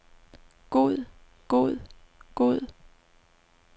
god god god